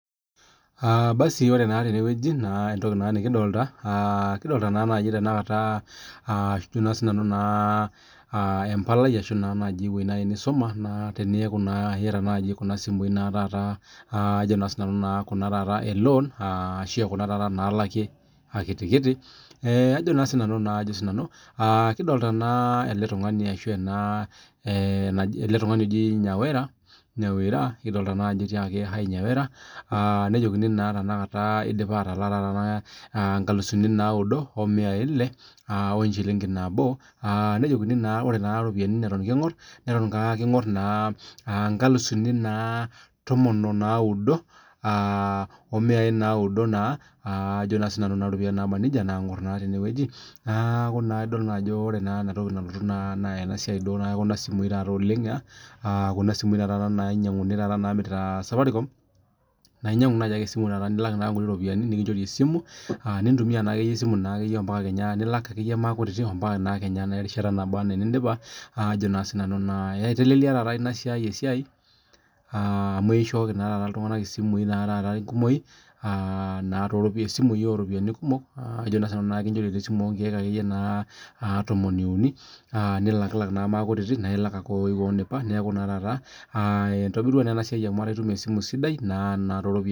Aa basi ore naa tene wueji naa entoki naa nekidolta kidolta naa naaji tenakata aa ajo naa sinanu naa aa empalai ashu naa naaji ewuei nai nisuma naa teniaku naa iyata naaji kuna simui naa taata ajo naa sinanu naa kuna taata e loan, aa ashu aa kuna taata naalaki akitikiti, ee ajo naa sinanu ajo naa sinanu. Aa kidolta naa ele tung'ani ashu ena ee naji ele tung'ani oji Nyawera, Nyawira kidolta naa aj etiakaki hi Nyawira, aa nejokini naa tenakata idipa atalaa naa taata inkalusuni naudo oo miai ile aa wo enchiling'i nabo aa nejokini naa ore naa iropiani neton king'or, neton king'or naa inkalusuni naa aa inkalusuni naa tomon oo naudo aa oo miai naaudo naa ajo naa sinanu kuna ropiani naaba nija naang'or naa tene wueji. Aaa neeku naa idol naa ajo ore naa ena toki nalotu naa naa ena siai duo aa e kuna simui taata oleng' aa kuna simui naa taata nainyang'uni naamirita safaricom, naa inyang'u nai ake esimu taata esimu nilak naa inkuti ropiani nekinchori esimu nintumia naakeyie esimu naakeyie mpaka kenya nilak aakeyie maakutitik o mpaka naa kenya erishata naba naa enindipa aajo naa sinanu naa. Ee itelelia taata ina siai esiai aa amu eishooki naa taata iltung'anak isimui naa taata enkumoi aa naa to ropi isimui oo ropiani kumok ajo naa sinanu, kinchori naa esimu oo nkeek akeyie naa inkeek tomoni uni aa nilakilak naa maakutitik nae ilak ake oo wou indipa. Neeku naa taata aa itobirua naa ena siai amu etaa itum esimu sidai naa too ropiani..